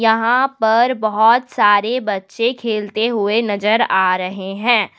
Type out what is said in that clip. यहां पर बहोत सारे बच्चे खेलते हुए नजर आ रहे हैं।